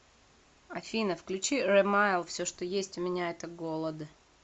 афина включи рэмайл все что есть у меня это голод